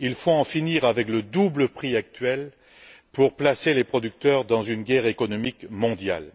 Il faut en finir avec le double prix actuel pour placer les producteurs dans une guerre économique mondiale.